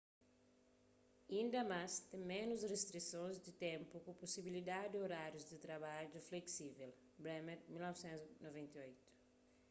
inda más ten ménus ristrisons di ténpu ku pusibilidadi di orárius di trabadju fleksível. bremer 1998